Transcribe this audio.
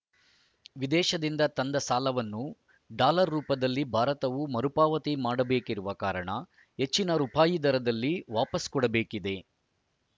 ವಿದೇಶದಿಂದ ತಂದ ಸಾಲವನ್ನು ಡಾಲರ್‌ ರೂಪದಲ್ಲಿ ಭಾರತವು ಮರುಪಾವತಿ ಮಾಡಬೇಕಿರುವ ಕಾರಣ ಹೆಚ್ಚಿನ ರುಪಾಯಿ ದರದಲ್ಲಿ ವಾಪಸು ಕೊಡಬೇಕಿದೆ